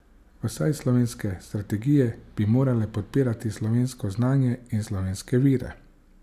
Vsaj slovenske strategije bi morale podpirati slovensko znanje in slovenske vire.